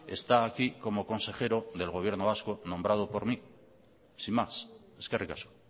está aquí como consejero del gobierno vasco nombrado por mí sin más eskerrik asko